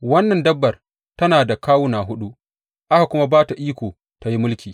Wannan dabbar tana da kawuna huɗu, aka kuma ba ta iko tă yi mulki.